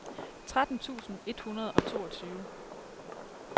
tretten tusind et hundrede og toogtyve